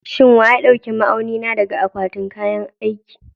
Shin wa ya ɗauki ma'auni na daga akwatin kayan aiki?